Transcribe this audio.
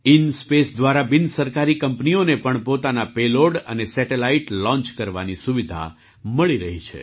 ઇન્સ્પેસ દ્વારા બિનસરકારી કંપનીઓને પણ પોતાના પેલૉડ અને સેટેલાઇટ લૉંચ કરવાની સુવિધા મળી રહી છે